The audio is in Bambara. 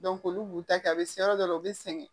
olu b'u ta kɛ a be se yɔrɔ dɔ la u be sɛgɛn